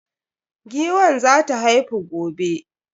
Giwan za ta haifu gobe.